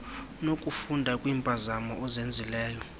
nokufunda kwiimpazamo ozenzileyo